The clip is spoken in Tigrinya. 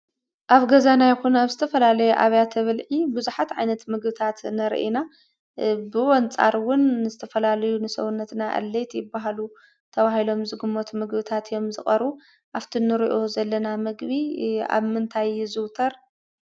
ኣብ ገዛና ይኩን ኣብ ዝተፈላለዩ ኣብያተ ብልዒ ቡዙሓት ዓይነት ምግብታት ንርኢ ኢና። ብኡ ኣንፃር እውን ዝተፈላለዩ ንሰውነትና ኣድለይቲ ይበሃሉ ተባሂሊም ዝግመቱ ምግብታት እዮም ዝቀርቡ:: ኣብ እቲ እንሪኦ ዘለና ምግቢ ኣብ ምንታይ ይዝውተር?